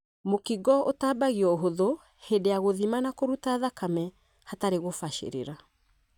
Mũkingo ũtambagio ũhuthu hĩndĩ ya gũthima na kũruta thakame hatarĩ gũbacĩrĩra.